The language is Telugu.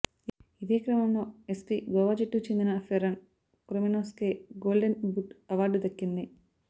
ఇదే క్రమంలో ఎఫ్సీ గోవా జట్టుకు చెందిన ఫెర్రన్ కొరొమినోస్ కే గోల్డెన్ బూట్ అవార్డు దక్కింది